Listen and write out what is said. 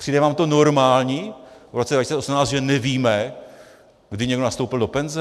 Přijde vám to normální v roce 2018, že nevíme, kdy někdo nastoupil do penze?